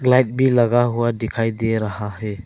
लगा हुआ दिखाई दे रहा है।